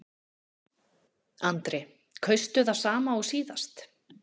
Andri: Kaustu það sama og síðast?